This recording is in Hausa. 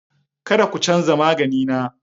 Kada ku canza magani na!